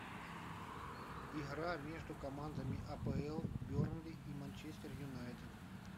игра между командами апл бернли и манчестер юнайтед